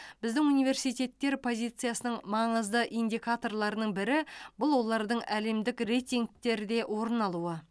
біздің университеттер позициясының маңызды индикаторларының бірі бұл олардың әлемдік рейтингтерде орын алуы